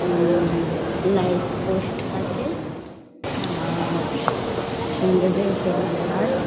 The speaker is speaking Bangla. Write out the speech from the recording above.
উম-ম-ম- লাইট পোস্ট আছে-এ- আ-আ-র সুন্দর্য সবুজ ঘাস।